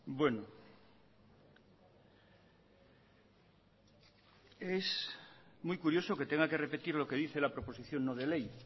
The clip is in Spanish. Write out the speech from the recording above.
bueno es muy curioso que tenga que repetir lo que dice la proposición no de ley